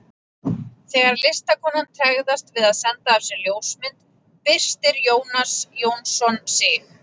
Þegar listakonan tregðast við að senda af sér ljósmynd byrstir Jónas Jónsson sig.